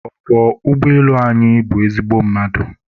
ọkwọ ụgbọelu anyị bụ ezigbo mmadụ